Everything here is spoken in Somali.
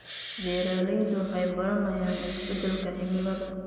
Beeraleydu waxay baranayaan isbeddelka cimilada.